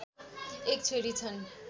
एक छोरी छन्।